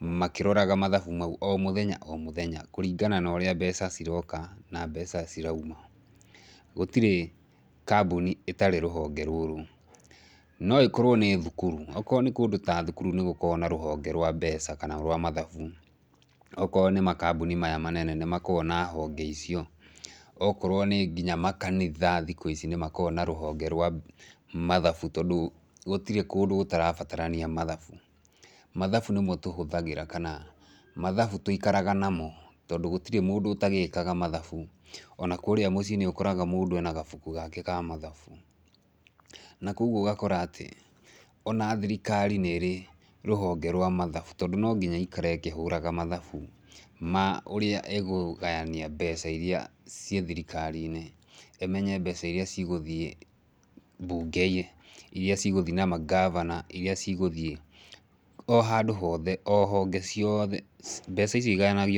makĩroraga mathabu mau o mũthenya o mũthenya, kũringana na ũrĩa mbeca ciroka na mbeca cirauma. Gũtirĩ kambũni ĩtarĩ rũhonge rũrũ. Noĩ korwo nĩ thukuru. Okorwo nĩ kũndũ ta thukuru nĩgũkoragwo na rũhonge rwa mbeca kana rwa mathabu. okorwo nĩ makambũni maya manene nĩmakoragwo na honge icio. Okorwo nĩ nginya makanitha thikũ ici nĩmakoragwo na rũhonge rwa mathabu tondũ gũtirĩ kũndũ gũtarabatarania mathabu. Mathabu nĩmo tũhathagĩra kana mathabu tũikaraga namo tondũ gũtiri mũndũ ũtagĩkaga mathabu, ona kũrĩa mũciĩ nĩũkoraga mũndũ ena gabuku gake ka mathabu. Na koguo ũgakora atĩ, ona thirikari nĩrĩ, rũhonge rwa mathabu tondũ no nginya ĩikare ĩkĩhũraga mathabu ma ũrĩa ĩkũgania mbeca iria ciĩ thirikarinĩ, ĩmenye mbeca iria cigũthiĩ mbunge, iria cigũthiĩ na mangabana, iria cigũthiĩ o handũ hothe, o honge ciothe, mbeca icio igayanagio.